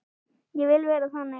Ég vil vera þannig.